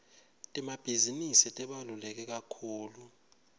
temabhizinisi tibalulekekakhulu